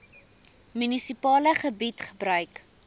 munisipale gebied gebruik